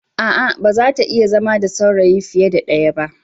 A'a, ba za ta iya zama saurayi fiye da ɗaya ba.